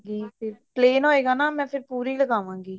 ਜੇ ਤੇ plan ਹੋਵੇਗਾ ਤਾਂ ਮੈਂ ਪੂਰੀ ਲਗਵਾਉਗੀ